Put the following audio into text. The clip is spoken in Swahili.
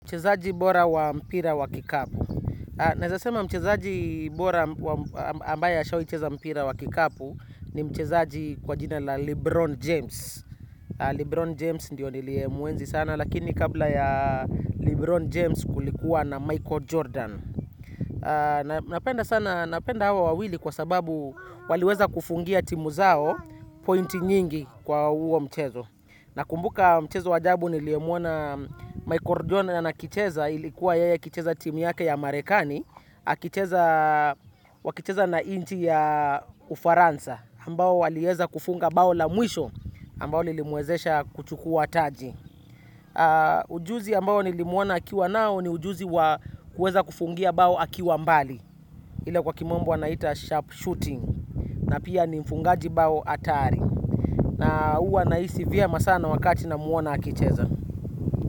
Mchezaji bora wa mpira wa kikapu. Naweza sema mchezaji bora ambaye ashawai cheza mpira wa kikapu ni mchezaji kwa jina la Lebron James. Lebron James ndiyo nilie muenzi sana, lakini kabla ya Lebron James kulikuwa na Michael Jordan. Napenda sana, napenda hawa wawili kwa sababu waliweza kufungia timu zao pointi nyingi kwa huo mchezo. Nakumbuka mchezo wajabu niliemuona Michael Jordan na akicheza ilikuwa yeye akicheza timu yake ya Marekani. Wakicheza na inchi ya ufaransa ambao waliweza kufunga bao la mwisho ambao lilimuwezesha kuchukuwa taji. Ujuzi ambao nilimuona akiwa nao ni ujuzi wa kuweza kufungia bao akiwa mbali. Ile kwa kimombo wanaita sharp shooting na pia ni mfungaji bao hatari. Na huwa nahisi vyema sana wakati namuona akicheza.